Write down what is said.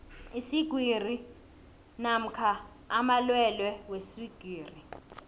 iswigiri namkha amalwelwe weswigiri